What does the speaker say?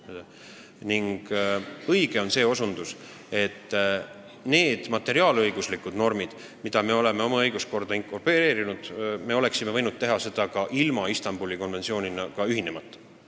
Samas on õige osutus, et need materiaalõiguslikud normid, mis me oleme oma õiguskorda inkorporeerinud, me oleksime võinud kehtestada ka ilma Istanbuli konventsiooniga ühinemata.